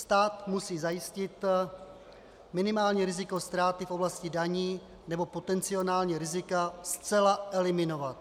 Stát musí zajistit minimální riziko ztráty v oblasti daní nebo potenciální rizika zcela eliminovat.